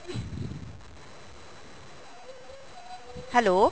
hello